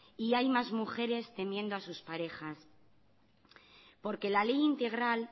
y más mujeres temiendo a sus parejas porque la ley integral